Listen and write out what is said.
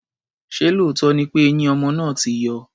Ṣé lóòótọ́ ni pé eyín ọmọ náà ti yọ?